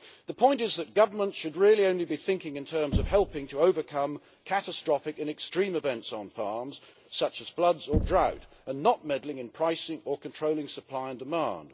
The point is that government should really only be thinking in terms of helping to overcome catastrophic and extreme events on farms, such as floods or drought, and not meddling in pricing or controlling supply and demand.